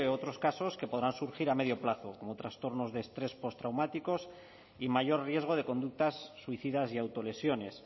otros casos que podrán surgir a medio plazo como trastornos de estrés postraumáticos y mayor riesgo de conductas suicidas y autolesiones